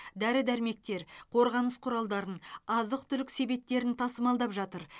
дәрі дәрмектер қорғаныс құралдарын азық түлік себеттерін тасымалдап жатыр